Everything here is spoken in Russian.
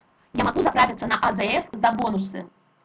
я могу заправиться на азс за бонусы